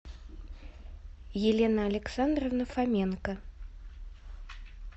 елена александровна фоменко